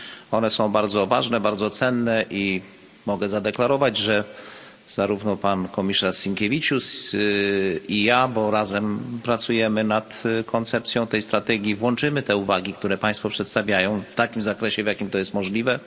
One są bardzo ważne, bardzo cenne i mogę zadeklarować, że zarówno pan komisarz Sinkevičius, jak i ja bo razem pracujemy nad koncepcją tej strategii włączymy te uwagi, które państwo przedstawiają, w takim zakresie, w jakim to jest możliwe.